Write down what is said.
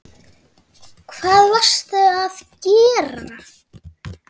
Hvað varstu að gera?